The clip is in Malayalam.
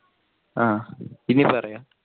ആ ഇനി പറയു